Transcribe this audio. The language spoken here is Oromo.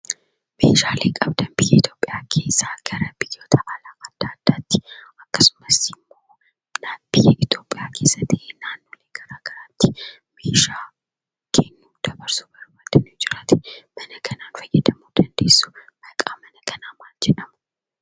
Meeshaalee qabdaan gara ithiyoopiyaa keessa gara biyyoota adda, addaatti, akkasumas, naaphii itiyoopiyaa keessa ta'e, iddoo garaagaraatti meeshaa dabarsuu fi kennudha.